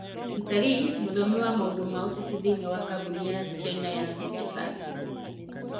Peter Li, mũthomi wa maũndũ ma ũteti thĩinĩ wa kambuni ya China ya HSI.